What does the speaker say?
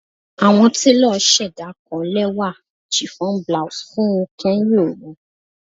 Awọn telo ṣẹda kan lẹwa chiffon blouse fun u kẹhin ooru